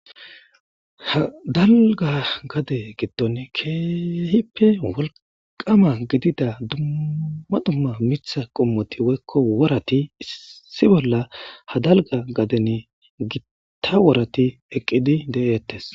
hadalga gade giddon keehippe wolqama gidida duma dumma mitha qommoti woykko warati issi bolla hadalga gaden gitta warati eqqidi de7eettes